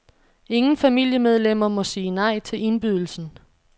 Ingen familiemedlemmer må sige nej til indbydelsen.